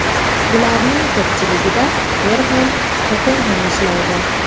Ularning ko‘pchiligida er ham, xotin ham ishlaydi.